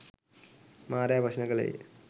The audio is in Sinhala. මාරයා ප්‍රශ්න කළේය.